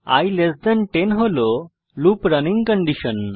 i 10 হল loop running condition